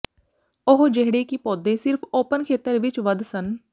ਉਹ ਜਿਹੜੇ ਕਿ ਪੌਦੇ ਸਿਰਫ ਓਪਨ ਖੇਤਰ ਵਿੱਚ ਵਧ ਸਨ